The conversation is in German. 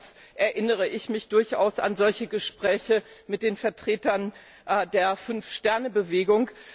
Jedenfalls erinnere ich mich durchaus an solche Gespräche mit den Vertretern der 5 Sterne Bewegung.